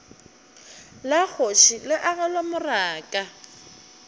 la kgoši le agelwa morako